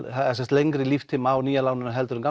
lengri líftíma á nýja láninu heldur en